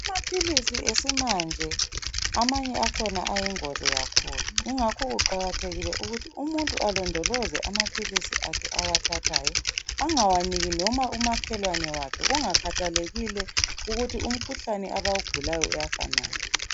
Amaphilisi esimanje amanye akhona ayingozi kakhulu .Ingakho kuqakathekile ukuthi umuntu alondoloze amaphilisi awathathayo ungawaniki noma umakhelwane wakhe kungakhathalekile ukuthi umkhuhlane abawugulayo uyafanana.